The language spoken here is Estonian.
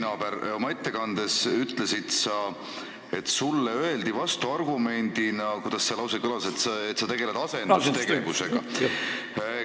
Hea pinginaaber, oma ettekandes sa ütlesid, et sulle öeldi vastuargumendina – kuidas see lause kõlaski –, et sa tegeled asendustegevusega.